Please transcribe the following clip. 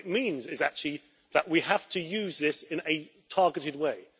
What it means is actually that we have to use this in a targeted way.